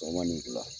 Sɔgɔma ni bila